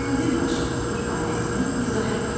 Mənzilbaşı ifadəsini izah et.